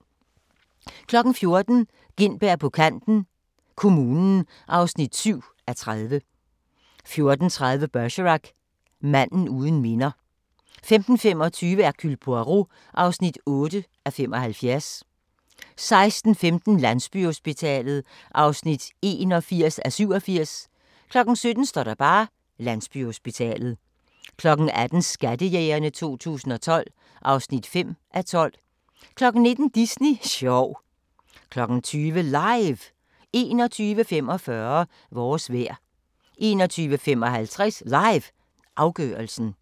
14:00: Gintberg på kanten - kommunen (7:30) 14:30: Bergerac: Manden uden minder 15:25: Hercule Poirot (8:75) 16:15: Landsbyhospitalet (81:87) 17:00: Landsbyhospitalet 18:00: Skattejægerne 2012 (5:12) 19:00: Disney sjov 20:00: LIVE 21:45: Vores vejr 21:55: LIVE – afgørelsen